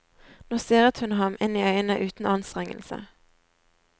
Nå stirret hun ham inn i øynene uten anstrengelse.